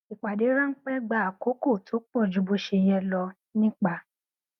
ìpàdé ránpẹ gba àkókò tó pọ ju bó ṣe yẹ lọ ó nípa